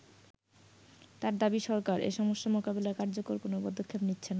তার দাবি সরকার এ সমস্যা মোকাবেলায় কার্যকর কোন পদক্ষেপ নিচ্ছেনা।